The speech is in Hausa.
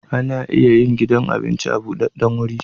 Ana iya yin gidan abinci a budaddan guri